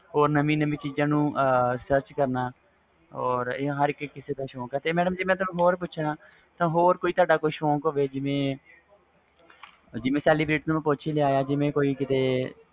ਨਵੀ ਨਵੀ ਚੀਜ਼ ਨੂੰ ਕਰਨਾ or ਇਹ ਰਹ ਕਿਸੇ ਦਾ ਸ਼ੌਕ ਵ ਤੇ ਮੈਂ ਤੁਹਾਨੂੰ ਹੋਰ ਪੁੱਛਣਾ ਵ ਤੁਹਾਡਾ ਕੋਈ ਸ਼ੋਕ ਹੋਵੇ ਜਿਵੇ